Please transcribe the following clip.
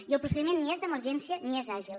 i el procediment ni és d’emergència ni és àgil